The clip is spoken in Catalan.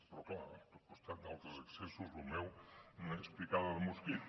però clar al costat d’altres excessos lo meu només és picada de mosquit